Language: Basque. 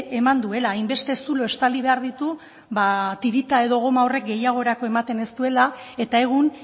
eman duela hainbeste zulo estali behar ditu ba tirita edo goma horrek gehiagorako ematen ez duela eta egun